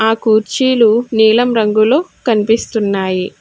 ఆ కుర్చీలు నీలం రంగులో కనిపిస్తున్నాయి.